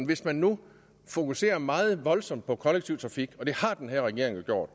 hvis man nu fokuserer meget voldsomt på kollektiv trafik og det har den her regering gjort